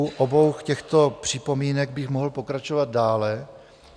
U obou těchto připomínek bych mohl pokračovat dále.